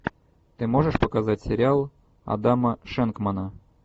ты можешь показать сериал адама шенкмана